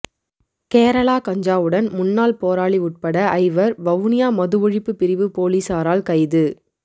கேரளா கஞ்சாவுடன் முன்னாள் போராளி உட்பட ஐவர் வவுனியா மது ஒழிப்பு பிரிவு பொலிசாரால் கைது